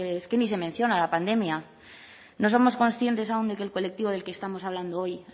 es que ni se menciona la pandemia no somos conscientes aún de que el colectivo del que estamos hablando hoy